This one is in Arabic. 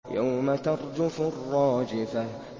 يَوْمَ تَرْجُفُ الرَّاجِفَةُ